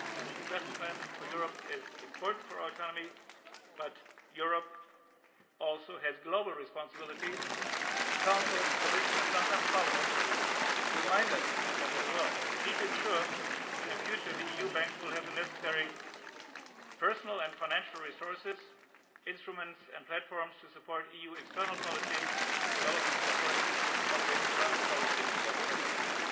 The Investment Plan for Europe is important for our economy but Europe also has global responsibilities and the Council, the Commission and sometimes Parliament remind us of that as well. We need to ensure that in future the EU bank will have the necessary personnel and financial resources, instruments and platforms to support EU external policy and development efforts, all the way to climate policies in particular.